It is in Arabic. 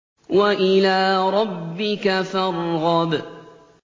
وَإِلَىٰ رَبِّكَ فَارْغَب